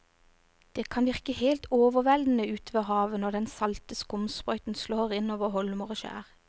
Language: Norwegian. Det kan virke helt overveldende ute ved havet når den salte skumsprøyten slår innover holmer og skjær.